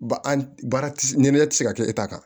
Ba an baara ti ɲɛnama tɛ se ka kɛ e ta kan